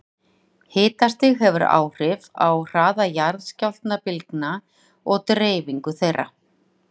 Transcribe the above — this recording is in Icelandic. Hitastig hefur áhrif á hraða jarðskjálftabylgna og deyfingu þeirra.